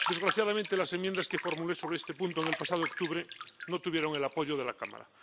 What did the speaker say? Desgraciadamente, las enmiendas que formulé sobre este punto en el pasado octubre no tuvieron el apoyo de la Cámara.